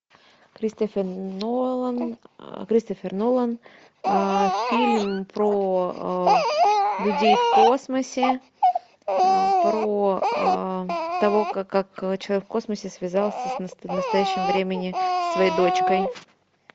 кристофер нолан кристофер нолан фильм про людей в космосе про то как человек в космосе связался в настоящем времени со своей дочкой